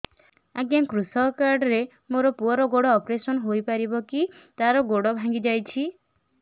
ଅଜ୍ଞା କୃଷକ କାର୍ଡ ରେ ମୋର ପୁଅର ଗୋଡ ଅପେରସନ ହୋଇପାରିବ କି ତାର ଗୋଡ ଭାଙ୍ଗି ଯାଇଛ